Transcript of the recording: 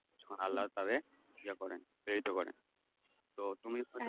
আল্লাহ তাদের ইয়া করেন প্রেরিত করেন তো তুমি